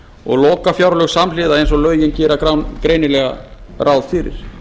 og lokafjárlög samhliða eins og lögin gera greinilega ráð fyrir